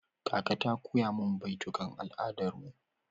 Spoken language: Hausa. Kaka ta koya min baitukan al'adar mu.